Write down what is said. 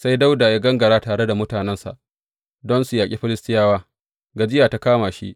Sai Dawuda ya gangara tare da mutanensa don su yaƙi Filistiyawa, gajiya ta kama shi.